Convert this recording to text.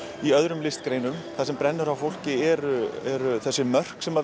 í öðrum listgreinum það sem brennur á fólki eru eru þessi mörk sem